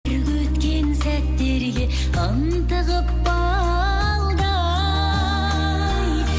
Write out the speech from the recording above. өткен сәттерге ынтығып балдай